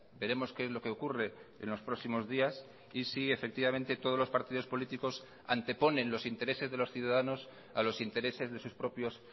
veremos qué es lo qué ocurre en los próximos días y si efectivamente todos los partidos políticos anteponen los intereses de los ciudadanos a los intereses de sus propios